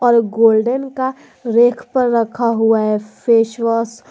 और गोल्डन का रेक पर रखा हुआ है फेस वॉश ।